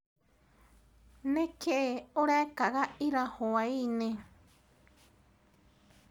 Nĩkĩĩ ũrekaga ira hwainĩ?